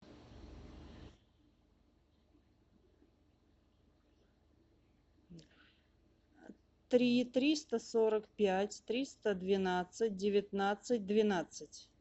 три триста сорок пять триста двенадцать девятнадцать двенадцать